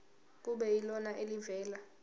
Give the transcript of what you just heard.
kube yilona elivela